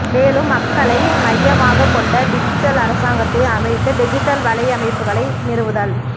மேலும் மக்களை மையமாகக் கொண்ட டிஜிட்டல் அரசாங்கத்தை அமைத்து டிஜிட்டல் வலையமைப்புக்களை நிறுவுதல்